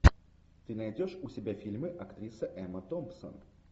ты найдешь у себя фильмы актриса эмма томпсон